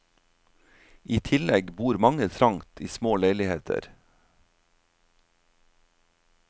I tillegg bor mange trangt i små leiligheter.